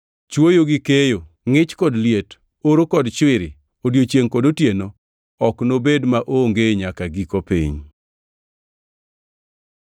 “Chwoyo gi keyo, ngʼich kod liet, oro kod chwiri, odiechiengʼ kod otieno ok nobed maonge nyaka giko piny.”